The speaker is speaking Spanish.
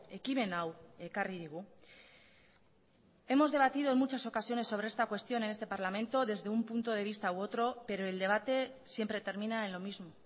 ekimen hau ekarri digu hemos debatido en muchas ocasiones sobre esta cuestión en este parlamento desde un punto de vista u otro pero el debate siempre termina en lo mismo